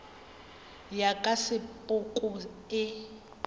ya ka ya sepoko e